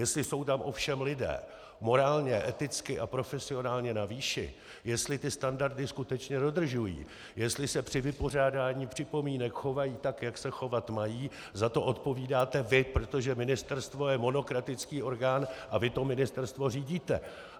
Jestli jsou tam ovšem lidé morálně, eticky a profesionálně na výši, jestli ty standardy skutečně dodržují, jestli se při vypořádání připomínek chovají tak, jak se chovat mají, za to odpovídáte vy, protože ministerstvo je monokratický orgán, a vy to ministerstvo řídíte!